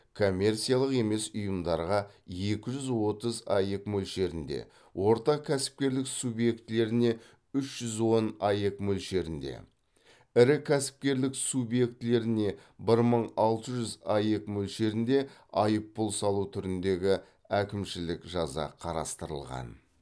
коммерциялық емес ұйымдарға екі жүз отыз аек мөлшерінде орта кәсіпкерлік субъектілеріне үш жүз он аек мөлшерінде ірі кәсіпкерлік субъектілеріне бір мың алты жүз аек мөлшерінде айыппұл салу түріндегі әкімшілік жаза қарастырылған